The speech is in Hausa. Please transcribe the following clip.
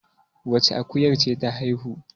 wacce akuyar ce ta haihu?